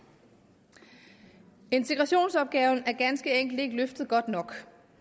integrationsopgaven er ganske enkelt ikke løftet godt nok